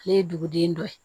Ale ye duguden dɔ ye